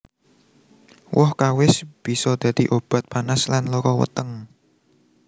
Woh kawis bisa dadi obat panas lan lara weteng